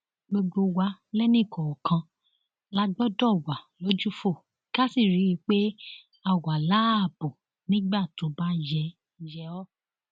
gbogbo wa lẹnìkọọkan la gbọdọ wà lójúfò ká sì rí i pé a wà láàbò nígbà tó bá yẹ yẹ ọ